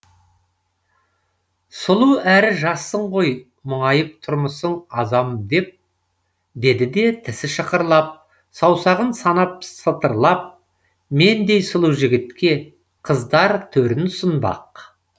сұлу әрі жассың ғой мұңайып тұрмысың азам деп деді де тісі шықырлап саусағын санап сытырлап мендей сұлу жігітке қыздар төрін ұсынбақ